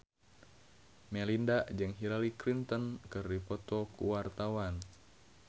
Melinda jeung Hillary Clinton keur dipoto ku wartawan